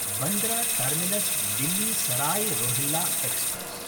Bandra टर्मिनस्–दिल्ली Sarai Rohilla express